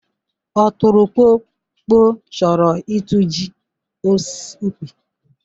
ọtụrụkpọkpọ chọrọ ịtụji osis ukpi.